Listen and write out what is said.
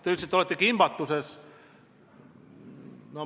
Te ütlesite, et olete kimbatuses.